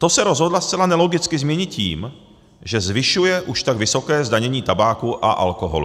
To se rozhodla zcela nelogicky změnit tím, že zvyšuje už tak vysoké zdanění tabáku a alkoholu.